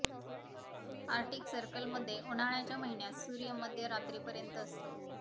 Arctic सर्कलमध्ये उन्हाळ्याच्या महिन्यात सूर्य मध्य रात्री पर्यत असतो